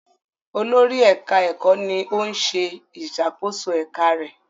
Olórí ẹka ẹkọ ní òún ṣe ìṣàkóso eka rẹ.